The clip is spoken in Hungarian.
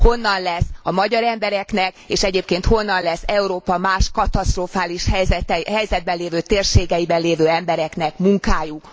Honnan lesz a magyar embereknek, és egyébként honnan lesz Európa más katasztrofális helyzetben lévő térségeiben lévő embereknek munkájuk?